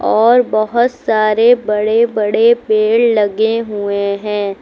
और बहुत सारे बड़े बड़े पेड़ लगे हुए हैं।